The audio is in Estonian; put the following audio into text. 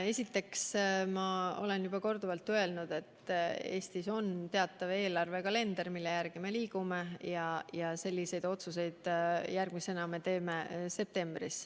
Esiteks, ma olen juba korduvalt öelnud, et Eestis on teatav eelarvekalender, mille järgi me liigume, ja selliseid otsuseid teeme järgmisena septembris.